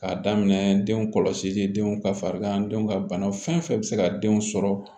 K'a daminɛ denw kɔlɔsili denw ka farigan denw ka bana fɛn fɛn bi se ka den sɔrɔ